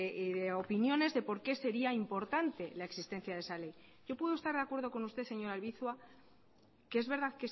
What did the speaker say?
y de opiniones de por qué sería importante la existencia de esa ley yo puedo estar de acuerdo con usted señora albizua que es verdad